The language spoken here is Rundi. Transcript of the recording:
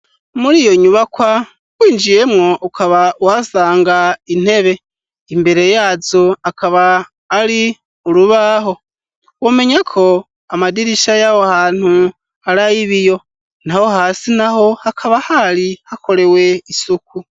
Muri iyo nyubakwa winjiyemwo ukaba wasanga intebe imbere yazo akaba ari urubaho womenya ko amadirisha y'awo hantu ari ayo ib iyo nta ho hasi na ho hakaba hari hakorewe isuku.